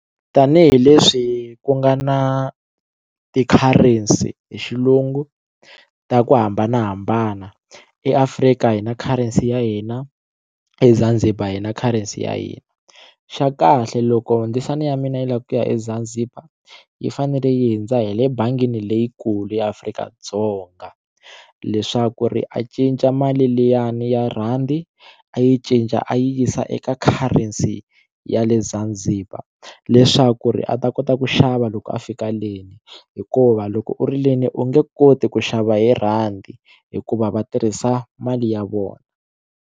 Tanihi leswi ku nga na ti-currency hi xilungu ta ku hambanahambana eAfrika hi na currency ya hina eZanzibar hi na currency ya hina xa kahle loko ndzisana ya mina lava ku ku eZanzibar yi fanele yi hindza hi le bangini leyi kulu eAfrika-Dzonga leswaku ri a cinca mali liyani ya rhandi a yi cinca a yi yisa eka currency ya le Zanzibar leswaku ri a ta kota ku xava loko a fika le hikuva loko u ri le u nge koti ku xava hi rhandi hikuva va tirhisa mali ya vona.